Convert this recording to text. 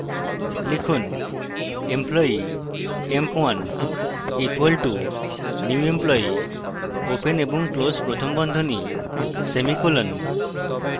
লিখুন: employee emp1 = new employee open এবং close প্রথম বন্ধনী semicolon